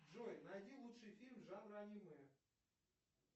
джой найди лучший фильм жанра аниме